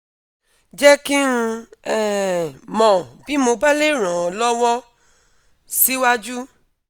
jẹ́ kí n um mọ́ bí mo bá le ràn ọ́ lọ́wọ́ síwájú